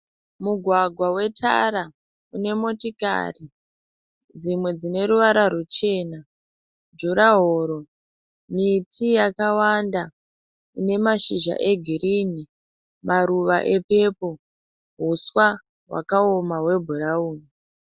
Mugwagwa wetara unemotikari dzimwe dzineruvara rwuchena, jurahoro, miti yakawanda ine mashizha egirinhi, maruva epepoo, huswa hwakaoma hwebhurauni.